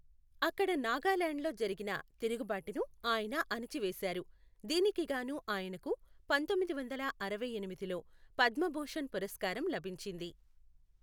అక్కడ నాగాలాండ్ లో జరిగిన తిరుగుబాటును ఆయన అణచివేశారు, దీనికి గాను ఆయనకు పంతొమ్మిది వందల అరవై ఎనిమిదిలో పద్మభూషణ్ పురస్కారం లభించింది.